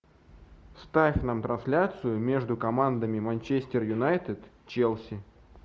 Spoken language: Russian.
ставь нам трансляцию между командами манчестер юнайтед челси